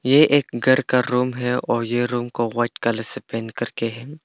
ये एक घर का रूम है और यह रूम को व्हाइट कलर से पेंट करके है।